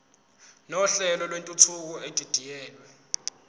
nohlelo lwentuthuko edidiyelwe